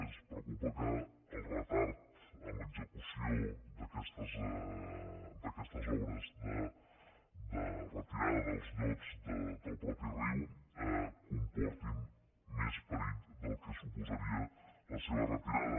ens preocupa que el retard en l’execució d’aquestes obres de retirada dels llots del mateix riu comporti més perill del que suposaria la seva retirada